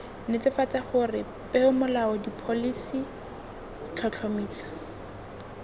netefatsa gore peomolao dipholisi tlhotlhomiso